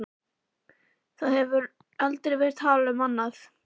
Það hefur aldrei verið talað um annað!